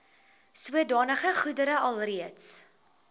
sodanige goedere alreeds